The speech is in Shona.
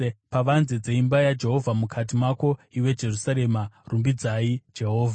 pavanze dzeimba yaJehovha, mukati mako, iwe Jerusarema. Rumbidzai Jehovha.